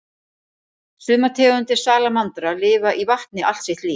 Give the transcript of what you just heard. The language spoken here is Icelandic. Sumar tegundir salamandra lifa í vatni allt sitt líf.